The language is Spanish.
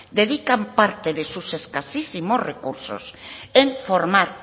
dedican parte de sus escasísimos recursos en formar